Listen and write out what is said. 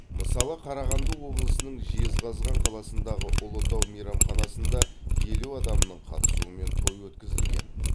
мысалы қарағанды облысының жезқазған қаласындағы ұлытау мейрамханасында елу адамның қатысуымен той өткізілген